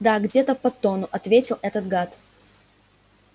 да где-то под тонну ответил этот гад